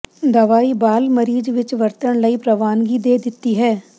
ਦਵਾਈ ਬਾਲ ਮਰੀਜ਼ ਵਿੱਚ ਵਰਤਣ ਲਈ ਪ੍ਰਵਾਨਗੀ ਦੇ ਦਿੱਤੀ ਹੈ